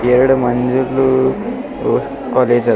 ಎರಡು ಮಂದಿಬ್ಲೂ ವೂ ಕಾಲೇಜ್ ಆದ್--